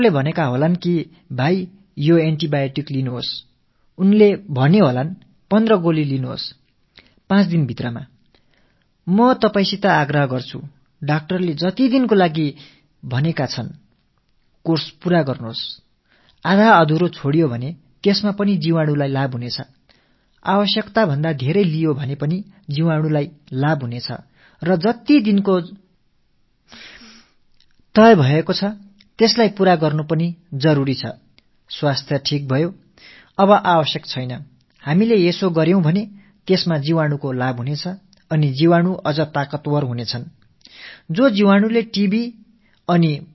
மேலும் ஒரு சங்கடம் ஏற்பட்டிருக்கிறது மருத்துவர் 15 ஆன்டிபயோட்டிக் மாத்திரைகளை 5 நாட்களில் எடுத்துக் கொள்ள வேண்டும் என்று பரிந்துரைத்திருக்கிறார் என்றால் தயவு செய்து மருத்துவர் கூறிய அளவு நாட்களில் அந்த பரிந்துரைப்படி நிறைவு செய்யுங்கள் அரைகுறையாக அதை விட்டுவிடாதீர்கள் அரைகுறையாக விடுவதன் காரணமாக நுண்ணுயிரிகள் பலமடையும் அதே போல தேவைக்கு அதிகமாக எடுத்துக் கொள்வதாலும் நுண்ணுயிர்க்கிருமிகள் பலமடையும் ஆகையால் எத்தனை மாத்திரைகள் எத்தனை நாட்களுக்கு எடுத்துக் கொள்ள வேண்டும் என்று பரிந்துரைக்கப் பட்டிருக்கிறதோ அதை நிறைவு செய்ய வேண்டும் உடல் நலமடைந்து விட்டது என்பதால் இனி தேவையில்லை என்று நாம் அரைகுறையாக விட்டு விட்டால் நுண்ணுயிர்க் கிருமிகளுக்கு ஆதாயமாகி அவை மேலும் பலமடைந்து விடுகின்றன